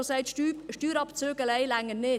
Er hat gesagt, Steuerabzüge allein reichten nicht.